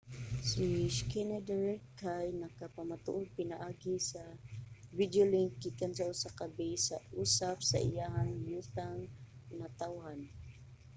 si schneider kay nagpamatuod pinaagi sa videolink gikan sa usa ka base sa usaf sa iyang yutang natawhan